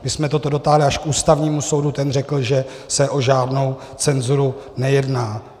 My jsme toto dotáhli až k Ústavnímu soudu, ten řekl, že se o žádnou cenzuru nejedná.